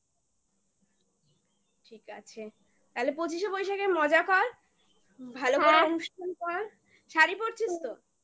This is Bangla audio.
ঠিক আছে তাহলে পঁচিশে বৈশাখে মজা কর ভালো হ্যাঁ করে অনুষ্ঠান কর শাড়ি পড়ছিস তো?